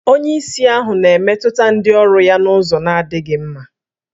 Onyeisi ahụ na-emetụta ndị ọrụ ya n'ụzọ na-adịghị mma